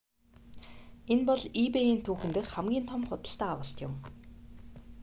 энэ бол ebay-н түүхэн дэх хамгийн том худалдан авалт юм